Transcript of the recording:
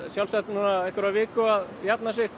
sjálfsagt viku að jafna sig